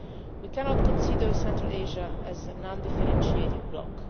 We cannot consider Central Asia to be a non differentiated bloc.